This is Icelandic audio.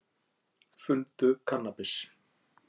Fundu kannabis